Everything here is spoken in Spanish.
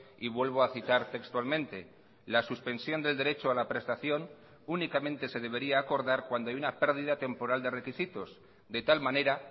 y vuelvo a citar textualmente la suspensión del derecho a la prestación únicamente se debería acordar cuando hay una pérdida temporal de requisitos de tal manera